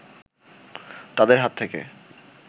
তাদের হাত থেকে